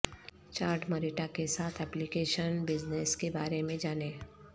Chad Marietta کے ساتھ application business کے بارے میں جانیں